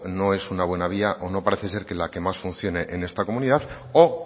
no es una buena vía o no parece ser la que más funcione en esta comunidad o